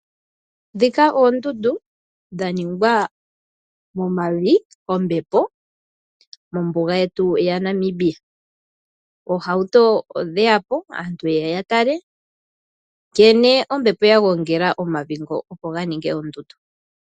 Ndhika oondundu dha ningwa momavi kombepo mombuga yetu yaNamibia. Aantu oha ye ya po niihauto ye ye ya tale nkene ombepo ya gongela omavi ngoka opo ga ninge oondundu.